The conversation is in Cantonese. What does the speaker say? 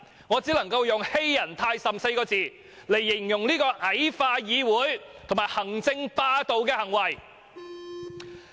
我只可以用"欺人太甚" 4個字形容這種矮化議會及行政霸道的行為。